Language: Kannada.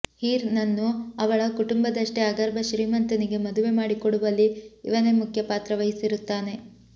ಹೀರ್ ನನ್ನು ಅವಳ ಕುಟುಂಬದಷ್ಟೇ ಅಗರ್ಭ ಶ್ರೀಮಂತನಿಗೆ ಮದುವೆ ಮಾಡಿ ಕೊಡುವಲ್ಲಿ ಇವನೇ ಮುಖ್ಯ ಪಾತ್ರ ವಹಿಸಿರುತ್ತಾನೆ